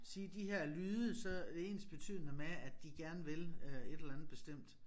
Sige de her lyde så det ens betydende med at de gerne vil øh et eller andet bestemt